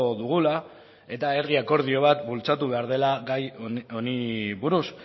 dugula eta herri akordio bat bultzatu behar dela gai honi buruz